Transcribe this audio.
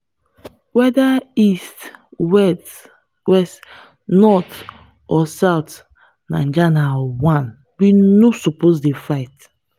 whether east west north or south naija na one. we no suppose dey fight.